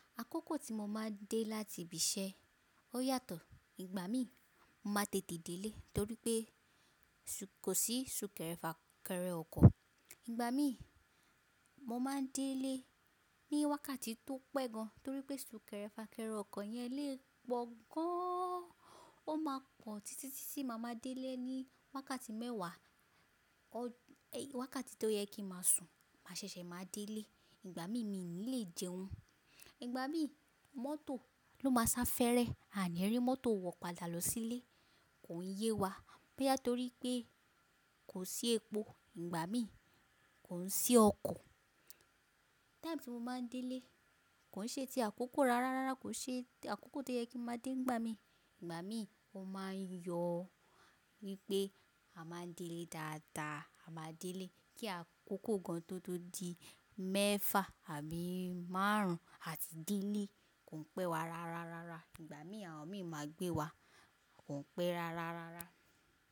Àkókò tí mo máa ń dé láti ibi iṣẹ́ ó yàtọ̀. Ìgbà mí, mo máa tètè dé ilé torí pé kò sí sún kẹrẹ fà kẹrẹ ọkọ̀. Ìgbà mí, mo máa ń dé ilé ní wákàtí tó pẹ́ gan torí pé sún kẹrẹ fà kẹrẹ ọkọ̀ yẹn lé e po gan. Ó máa pọ̀ títí títìí má máa dé ilé ní wákàtí mẹ́wàá, wákàtí tó yẹ kí mà sùn, mà ṣẹ̀ṣẹ̀ máa dé ilé. Ìgbà mí, mi ò ní lè jẹun. Ìgbà mí, mọ́tò ló máa ń sá fẹ́rẹ. A ní rí mọ́tò wọ̀padà lọ sílé, kò ń yé wa. Bóyá torí pé kò sí epo. Ìgbà mí, kò ń sí ọkọ̀. Time tí mo máa ń dé ilé, kò ṣe ti àkókò rárá rárá, kò ṣe àkókò tó yẹ kí mo máa dé. Ìgbà mí, mo máa ń yọ wípé a máa ń dé ilé dáadáa. A máa ń dé ilé kí àkókò gan tótó di mẹ́fà àbí márùn-ún àti délé kò ń pẹ́ wa rárá rárá. Ìgbà mí, àwọn mi máa gbé wa, kò ń pẹ́ rárá rárá.